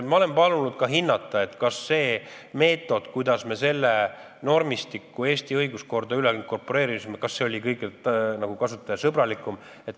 Ma olen palunud ka hinnata, kas see meetod, kuidas me selle normistiku Eesti õiguskorda inkorporeerisime, oli kõige kasutajasõbralikum.